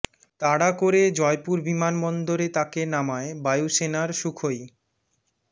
তাড়া করে জয়পুর বিমানবন্দরে তাকে নামায় বায়ু সেনার সুখোই